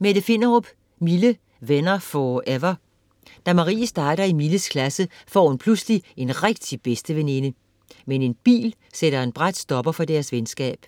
Finderup, Mette: Mille - venner 4ever Da Marie starter i Milles klasse, får hun pludselig en rigtig bedsteveninde. Men en bil sætter en brat stopper for deres venskab.